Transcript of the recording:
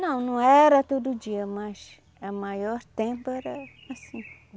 Não, não era todo dia, mas o maior tempo era assim.